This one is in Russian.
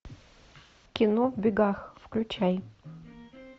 кино в бегах включай